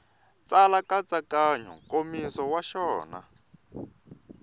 tsala nkatsakanyo nkomiso wa xona